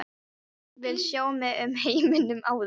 Vil sjá mig um í heiminum áður.